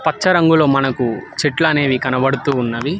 పచ్చరంగులో మనకు చెట్లనేవి కనబడుతూ ఉన్నవి.